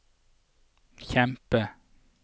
kjempe